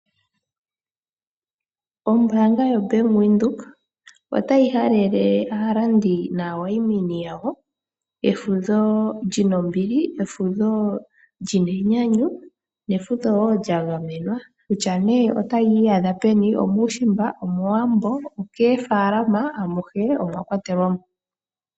Ombaanga yaVenduka otayi halele aalandi naawayimini yawo efudho lina ombili, efudho lina enyanyu nefudho woo lya gamenwa kutya nee otayi iyadha peni omuushimba omowambo okoofaalama amuhe omwakwatelwamo.